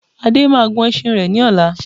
Ade máa gun ẹṣin rẹ ní ọ̀la